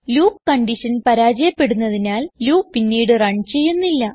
loop condition പരാജയപ്പെടുന്നതിനാൽ loop പിന്നീട് run ചെയ്യുന്നില്ല